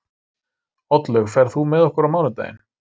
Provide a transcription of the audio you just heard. Oddlaug, ferð þú með okkur á mánudaginn?